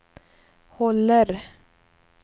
håller